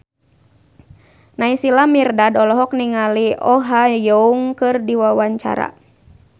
Naysila Mirdad olohok ningali Oh Ha Young keur diwawancara